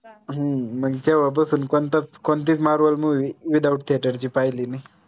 हम्म कोनतीच marvel movies without heater ची पाहिली नाई